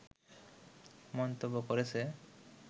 মন্তব্য করেছে